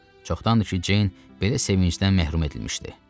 Çoxdandır ki, Ceyn belə sevincdən məhrum edilmişdi.